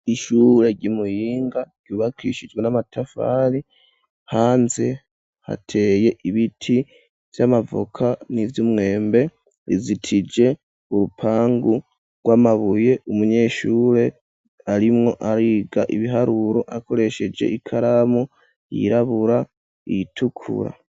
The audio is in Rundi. Ishure ry' Muyinga ryubakishijwe n'amatafari hanze hateye ibiti vy'amavoka n'ivy'umwembe rizitije urupangu rw'amabuye, umunyeshure arimwo ariga ibiharuro akoresheje ikaramu yirabura iyitukura.